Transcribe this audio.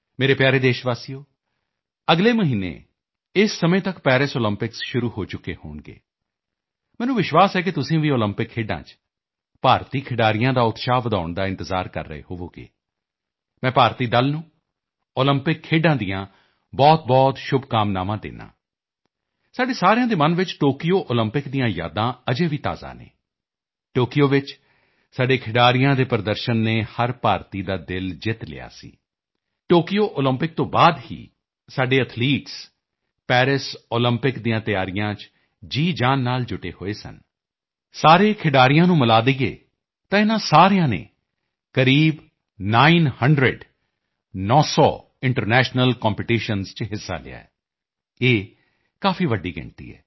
ਮੇਰੇ ਪਿਆਰੇ ਦੇਸ਼ਵਾਸੀਓ ਅਗਲੇ ਮਹੀਨੇ ਇਸ ਸਮੇਂ ਤੱਕ ਪੈਰਿਸ ਓਲੰਪਿਕ ਸ਼ੁਰੂ ਹੋ ਚੁੱਕੇ ਹੋਣਗੇ ਮੈਨੂੰ ਵਿਸ਼ਵਾਸ ਹੈ ਕਿ ਤੁਸੀਂ ਵੀ ਓਲੰਪਿਕ ਖੇਡਾਂ 'ਚ ਭਾਰਤੀ ਖਿਡਾਰੀਆਂ ਦਾ ਉਤਸ਼ਾਹ ਵਧਾਉਣ ਦਾ ਇੰਤਜ਼ਾਰ ਕਰ ਰਹੋ ਹੋਵੋਗੇ ਮੈਂ ਭਾਰਤੀ ਦਲ ਨੂੰ ਓਲੰਪਿਕ ਖੇਡਾਂ ਦੀਆਂ ਬਹੁਤ ਬਹੁਤ ਸ਼ੁਭਕਾਮਨਾਵਾਂ ਦਿੰਦਾ ਹਾਂ ਸਾਡੇ ਸਾਰਿਆਂ ਦੇ ਮਨ 'ਚ ਟੋਕੀਓ ਓਲੰਪਿਕ ਦੀਆਂ ਯਾਦਾਂ ਅਜੇ ਵੀ ਤਾਜ਼ਾ ਹਨ ਟੋਕੀਓ ਵਿੱਚ ਸਾਡੇ ਖਿਡਾਰੀਆਂ ਦੇ ਪ੍ਰਦਰਸ਼ਨ ਨੇ ਹਰ ਭਾਰਤੀ ਦਾ ਦਿਲ ਜਿੱਤ ਲਿਆ ਸੀ ਟੋਕੀਓ ਓਲੰਪਿਕ ਤੋਂ ਬਾਅਦ ਤੋਂ ਹੀ ਸਾਡੇ ਐਥਲੀਟਸ ਪੈਰਿਸ ਓਲੰਪਿਕ ਦੀਆਂ ਤਿਆਰੀਆਂ 'ਚ ਜੀ ਜਾਨ ਨਾਲ ਜੁਟੇ ਹੋਏ ਸਨ ਸਾਰੇ ਖਿਡਾਰੀਆਂ ਨੂੰ ਮਿਲਾ ਦਈਏ ਤਾਂ ਇਨ੍ਹਾਂ ਸਾਰਿਆਂ ਨੇ ਕਰੀਬ Nine Hundred - ਨੌਂ ਸੌ ਇੰਟਰਨੈਸ਼ਨਲ ਕੰਪੀਟੀਸ਼ਨ 'ਚ ਹਿੱਸਾ ਲਿਆ ਹੈ ਇਹ ਕਾਫੀ ਵੱਡੀ ਗਿਣਤੀ ਹੈ